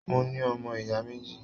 Mo ní ọmọ ìyá méjì.